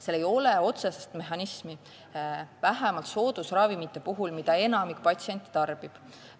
Seal ei ole otsest mehhanismi, vähemalt soodusravimite puhul, mida enamik patsiente tarbib.